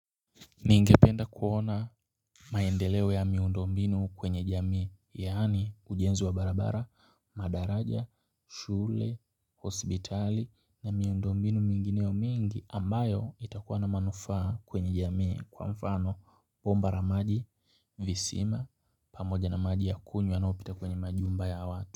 Ningependa kuona maendeleo ya miundo mbinu kwenye jamii, yaani ujenzi wa barabara, madaraja, shule, hospitali na miundo mbinu mingineo mingi ambayo itakuwa na manufaa kwenye jamii kwa mfano bomba la maji, visima, pamoja na maji ya kunywa yanayopita kwenye majumba ya watu.